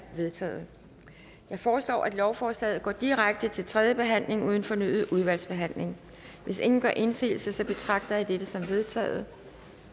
vedtaget jeg foreslår at lovforslaget går direkte til tredje behandling uden fornyet udvalgsbehandling hvis ingen gør indsigelse betragter jeg dette som vedtaget